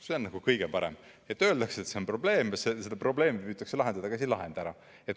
See on kõige parem, et öeldakse, et see on probleem ja seda probleemi püütakse lahendada, aga seda ei lahendata ära.